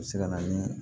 U bɛ se ka na ni